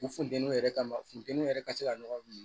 U funteni yɛrɛ kama funteniw yɛrɛ ka se ka ɲɔgɔn minɛ